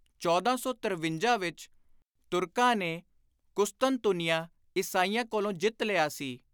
1453 ਵਿਚ ਤੁਰਕਾਂ ਨੇ ਕੁਸਤਨਤੁਨੀਆਂ ਈਸਾਈਆਂ ਕੋਲੋਂ ਜਿੱਤ ਲਿਆ ਸੀ।